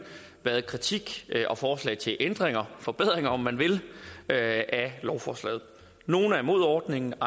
været kritik og forslag til ændringer forbedringer om man vil af lovforslaget nogle er imod ordningen